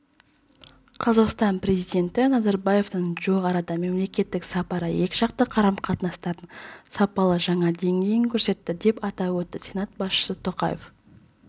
қазақстан президенті назарбаевтың жуық арадағы мемлекеттік сапары екіжақты қарым-қатынастардың сапалы жаңа деңгейін көрсетті деп атап өтті сенат басшысы тоқаев